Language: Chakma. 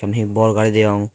un he bor gari deong.